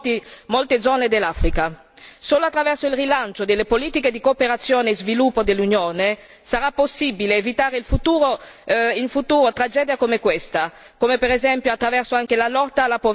Solo attraverso il rilancio delle politiche di cooperazione e sviluppo dell'Unione sarà possibile evitare in futuro tragedie come questa, come per esempio attraverso la lotta alla povertà, che diventa prioritaria.